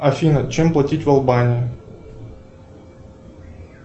афина чем платить в албании